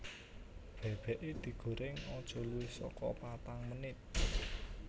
Bebeke digoreng aja luwih soko patang menit